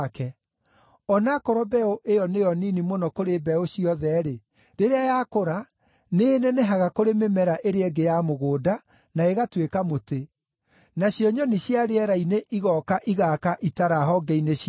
O na akorwo mbeũ ĩyo nĩyo nini mũno kũrĩ mbeũ ciothe-rĩ, rĩrĩa yakũra, nĩĩnenehaga kũrĩ mĩmera ĩrĩa ĩngĩ ya mũgũnda na ĩgatuĩka mũtĩ, nacio nyoni cia rĩera-inĩ igooka igaaka itara honge-inĩ ciaguo.”